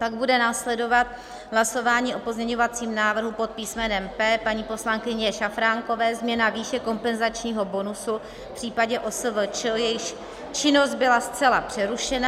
Pak bude následovat hlasování o pozměňovacím návrhu pod písmenem P paní poslankyně Šafránkové - změna výše kompenzačního bonusu v případě OSVČ, jejíž činnost byla zcela přerušena.